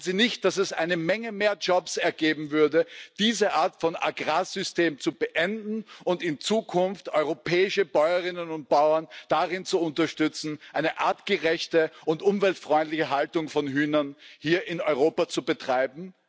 Meinen Sie nicht, dass es eine Menge mehr Jobs ergeben würde, diese Art von Agrarsystem zu beenden und in Zukunft europäische Bäuerinnen und Bauern darin zu unterstützen, eine artgerechte und umweltfreundliche Haltung von Hühnern hier in Europa zu betreiben?